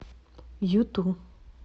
юту